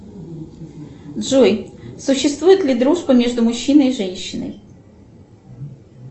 джой существует ли дружба между мужчиной и женщиной